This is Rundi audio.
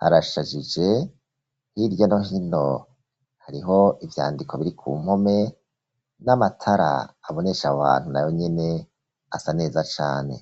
harashajije h'irya no hino hariho ivyandiko biri ku mpome n'amatara abonesha abantu nayo nyene asa neza cane